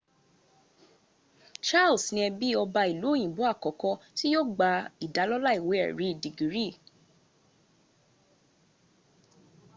charles ní ẹbí ọba ìlú òyìnbó àkọ́kọ́ tí yóò gba ìdálọ́lá ìwé èrí dègírì